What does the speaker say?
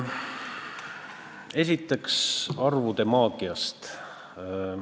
Esiteks arvude maagiast.